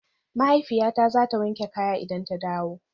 Mahaifiyata zata wanke kaya idan ta dawo